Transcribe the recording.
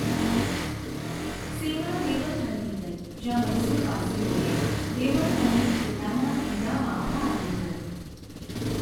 સેના દેવનહલ્લી ગઈ, જ્યાં મૈસૂરવાસીઓએ દેવનહલ્લી કિલ્લાના ઘેરામાં ભાગ લીધો.